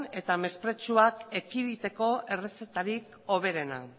eta mesprezuak ekiditeko errezetarik hoberena